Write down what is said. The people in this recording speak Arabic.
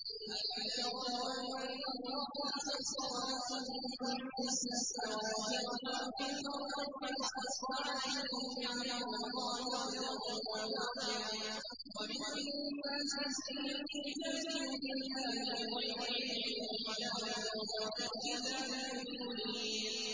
أَلَمْ تَرَوْا أَنَّ اللَّهَ سَخَّرَ لَكُم مَّا فِي السَّمَاوَاتِ وَمَا فِي الْأَرْضِ وَأَسْبَغَ عَلَيْكُمْ نِعَمَهُ ظَاهِرَةً وَبَاطِنَةً ۗ وَمِنَ النَّاسِ مَن يُجَادِلُ فِي اللَّهِ بِغَيْرِ عِلْمٍ وَلَا هُدًى وَلَا كِتَابٍ مُّنِيرٍ